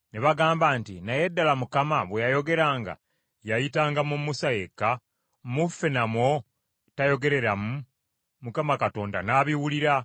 Ne bagamba nti, “Naye ddala Mukama bwe yayogeranga yayitanga mu Musa yekka? Mu ffe namwo teyayogereramu?” Mukama Katonda n’abiwulira.